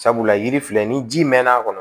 Sabula yiri filɛ ni ji mɛn'a kɔnɔ